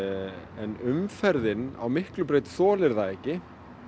en umferðin á Miklubraut þolir það ekki